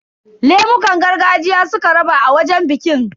Lemukan gargajiya suka raba a wajen bikin.